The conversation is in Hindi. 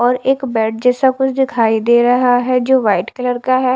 और एक बेड जेसा कुछ दिखाई दे रहा हैं जो वाइट कलर का हैं।